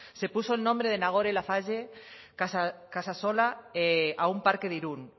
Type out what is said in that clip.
se puso el nombre de nagore laffage casasola a un parque de irún